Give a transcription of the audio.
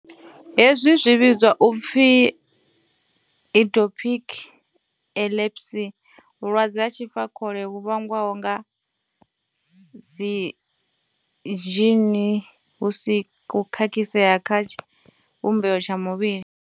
Hezwi zwi vhidzwa u pfi idiopathic epilepsy vhulwadze ha tshifakhole vhu vhangwaho nga dzidzhini hu si na u khakhisea kha tshivhumbeo tsha muvhili.